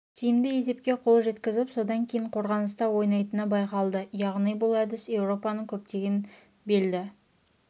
тиімді есепке қол жеткізіп содан кейін қорғаныста ойнайтыны байқалды яғни бұл әдіс еуропаның көптеген белді